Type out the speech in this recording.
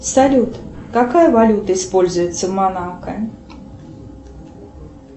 салют какая валюта используется в монако